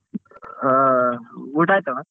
ಆ ಊಟ ಆಯ್ತಣ್ಣ?